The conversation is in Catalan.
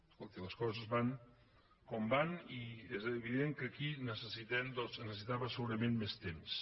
escolti les coses van com van i és evident que aquí es necessitava segurament més temps